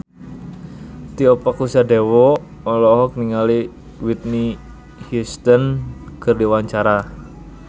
Tio Pakusadewo olohok ningali Whitney Houston keur diwawancara